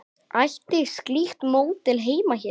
Ætti slíkt módel heima hér?